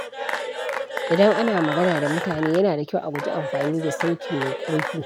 Idan ana magana da mutane, yana da kyau a guji amfani da sauti mai ƙarfi.